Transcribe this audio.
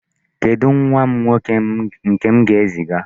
Kedụ nwa m nwoke nke m ga-eziga?